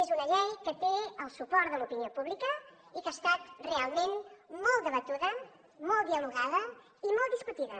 és una llei que té el suport de l’opinió pública i que ha estat realment molt debatuda molt dialogada i molt discutida